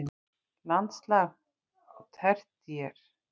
Landslag á tertíer